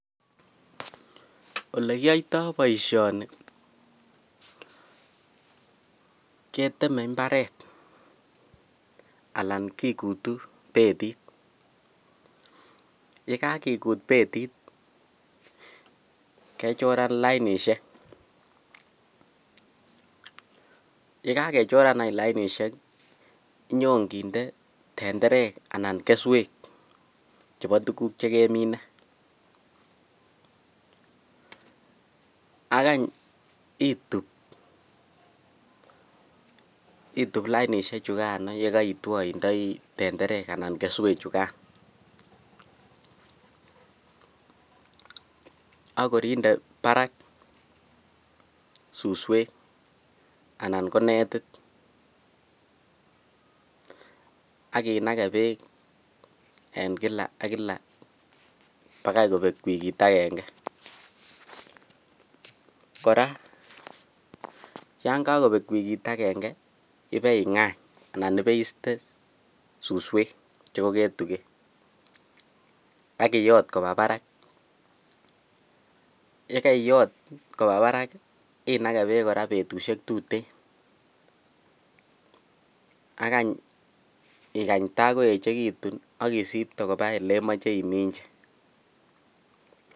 Olekiyoito boishoni keteme imbaret alaan kikutu betit, yekekikut betit kechoran lainishek, yekakechoran any lainishek inyon kinde tenderek anan keswek chebo tukuk chekemine ak any ituub, ituub lainishe chukan yekoitwo indoi tenderek anan keswe chukan ak kor inde barak suswek anan ko netit ak inakee beek en kila ak kila bakai kobek wikit akeng'e, kora yoon kokobek wikit akeng'e ibei ngany anan ibeiste suswek chekoketuken ak iyot kobaa barak, yekeiyot kobaa barak inakee beek kora betushek tuten ak any ikany takoechekitun isipte kobaa elemoche iminji.